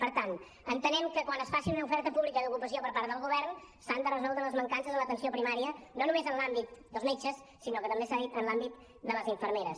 per tant entenem que quan es faci una oferta pública d’ocupació per part del govern s’han de resoldre les mancances en l’atenció primària no només en l’àmbit dels metges sinó com s’ha dit també en l’àmbit de les infermeres